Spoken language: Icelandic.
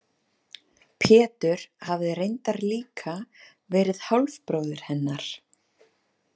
Pétur hafði reyndar líka verið hálfbróðir hennar.